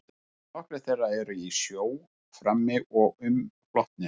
Nokkrir þeirra eru í sjó frammi og umflotnir.